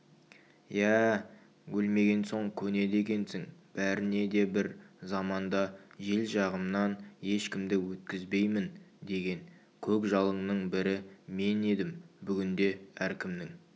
иә-ә өлмеген соң көнеді екенсің бәріне де бір заманда жел жағымнан ешкімді өткізбеймін деген көкжалыңның бірі мен едім бүгінде әркімнің